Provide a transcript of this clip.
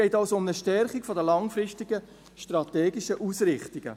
Es geht also um eine Stärkung der langfristigen strategischen Ausrichtungen.